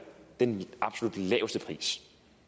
den absolut laveste pris